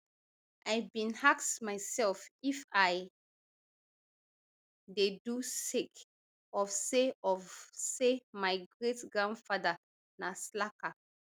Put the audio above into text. i bin ask myself if i dey do sake of say of say my greatgrandfather na slacker